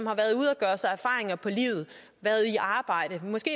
erfaringer på livet været i arbejde måske